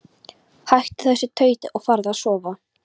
Hættu þessu tauti og farðu að sofa.